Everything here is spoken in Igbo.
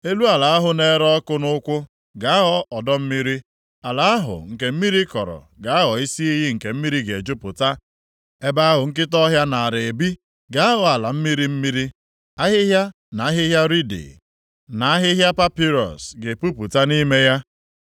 Elu ala ahụ na-ere ọkụ nʼụkwụ ga-aghọ ọdọ mmiri. Ala ahụ nke mmiri kọrọ ga-aghọ isi iyi nke mmiri ga-ejupụta. Ebe ahụ nkịta ọhịa naara ebi ga-aghọ ala mmiri mmiri; ahịhịa, na ahịhịa riidi, na ahịhịa papịrọs, ga-epupụta nʼime ya.